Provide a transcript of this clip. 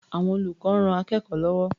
Àwọn olùkọ́ ń ran akẹ́kọ̀ó lọ́wọ́.